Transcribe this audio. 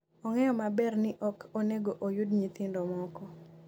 ong'eyo maber ni ok onego oyud nyithindo moko